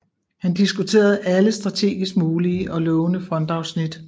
Han diskuterede alle strategisk mulige og lovende frontafsnit